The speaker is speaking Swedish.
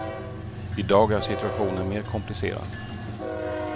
I dag är situationen mer komplicerad.